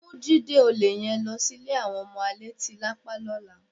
Mú Jídé olè yẹn lọ sí ilé àwọn ọmọ alétílápá lọ́la.